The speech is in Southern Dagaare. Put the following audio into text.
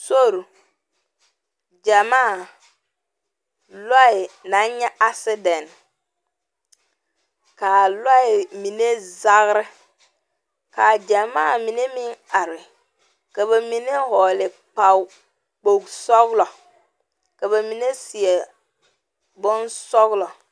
Sori, gyamaa, lɔɛ naŋ le, kaa lɔɛ mine zage, ka gyamaa meŋ are ka ba mine vɔgeli kpol sɔglɔ ka ba mine seɛ bonsɔglɔ